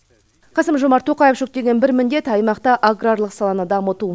қасым жомарт тоқаев жүктеген бір міндет аймақта аграрлық саланы дамыту